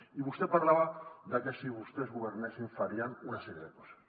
i vostè parlava de que si vostès governessin farien una sèrie de coses